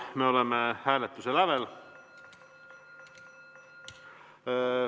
Me oleme hääletuse lävel.